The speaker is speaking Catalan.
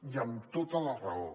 i amb tota la raó